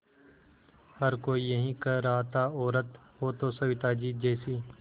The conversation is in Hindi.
हर कोई यही कह रहा था औरत हो तो सविताजी जैसी